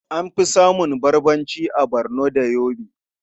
An fi samun Barbarci a Barno da Yobe.